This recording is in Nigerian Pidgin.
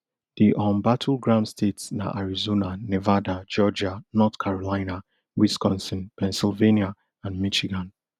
di um battleground states na arizona nevada georgia north carolina wisconsin pennsylvania and michigan